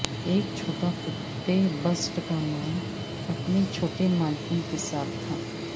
ایک چھوٹا کتے بسٹ کا نام اپنے چھوٹے مالکن کے ساتھ تھا